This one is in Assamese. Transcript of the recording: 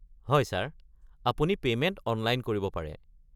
হয় ছাৰ, আপুনি পেমেণ্ট অনলাইন কৰিব পাৰে।